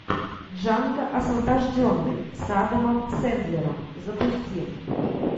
джанго освобожденный с адамом сэндлером запусти